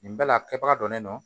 Nin bɛɛ la a kɛbaga don ne nɔ